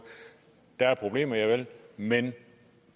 der er problemer javel men